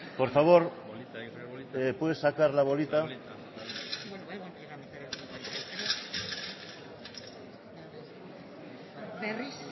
por favor puedes sacar la bolita berriz